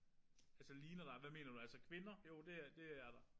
Altså ligner dig hvad mener du? Altså kvinder? Jo det er det er der